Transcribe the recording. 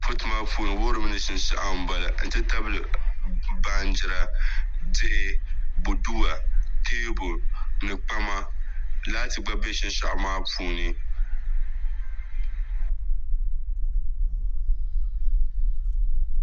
Fotomaa puuni wuhurimi ni shishegu n bala n titabili baanjida diɣu boduwa tɛɛbuli ni kpama laati gba bɛ shishegu maa puuni